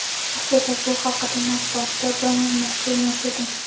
Aslida bu haqida matbuotda bong urmoqchi emas edim.